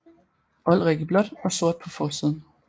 Olrik i blåt og sort på forsiden